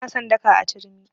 Ba na son daka a turmi.